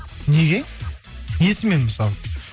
неге несімен мысалы